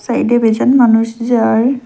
সাইডে বেজন মানুষ যায়।